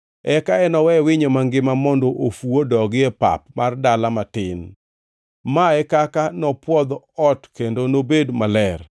Eka enowe winyo mangima mondo ofu odogi e pap mar dala matin. Mae e kaka nopwodh ot kendo nobed maler.”